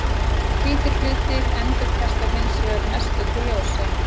Hvítir hlutir endurkasta hins vegar mestöllu ljósi.